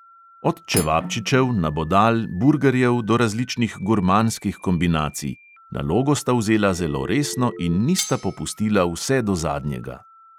Od čevapčičev, nabodal, burgerjev do različnih gurmanskih kombinacij – nalogo sta vzela zelo resno in nista popustila vse do zadnjega.